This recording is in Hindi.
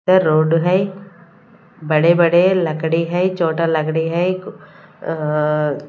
रोड है बड़े बड़े लकड़ी है छोटा लकड़ी है अह--